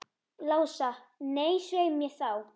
Lása, nei, svei mér þá.